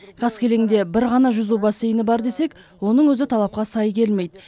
қаскелеңде бір ғана жүзу бассейні бар десек оның өзі талапқа сай келмейді